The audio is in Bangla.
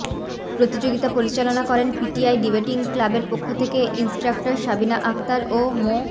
প্রতিযোগিতা পরিচালনা করেন পিটিআই ডিবেটিং ক্লাবের পক্ষ থেকে ইন্সট্রাক্টর সাবিনা আক্তার ও মো